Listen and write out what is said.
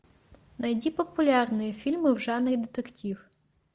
найди популярные фильмы в жанре детектив